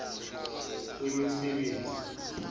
wemisebenzi